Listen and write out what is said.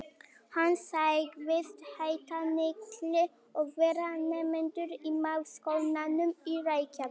Hann sagðist heita Nikki og vera nemandi í Menntaskólanum í Reykjavík.